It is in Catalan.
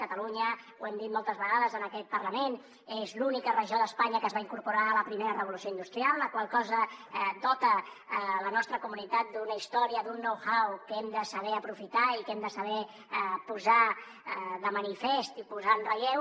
catalunya ho hem dit moltes vegades en aquest parlament és l’única regió d’espanya que es va incorporar a la primera revolució industrial la qual cosa dota la nostra comunitat d’una història d’un know how que hem de saber aprofitar i que hem de saber posar de manifest i posar en relleu